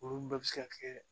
Olu bɛɛ bɛ se ka kɛ